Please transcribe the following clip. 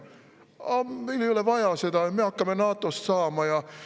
"Ah, meil ei ole vaja seda, me hakkame NATO-st saama.